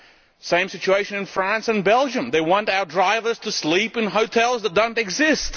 The same situation in France and Belgium they want our drivers to sleep in hotels that do not exist.